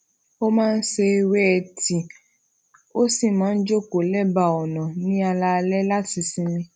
ó máa ń se ewé e tii ó sì máa ń jókòó lebaa ona ní alaalé láti sinmi